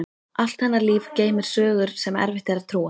Allt hennar líf geymir sögur sem erfitt er að trúa.